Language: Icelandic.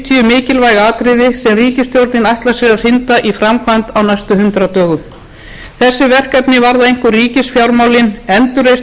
mikilvæg atriði sem ríkisstjórnin ætlar sér að hrinda í framkvæmd á næstu hundrað dögum þessi verkefni varða einkum ríkisfjármálin endurreisn